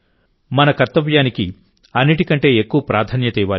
మన కర్తవ్యానికి అన్నిటికంటే ఎక్కువ ప్రాధాన్యత ఇవ్వాలి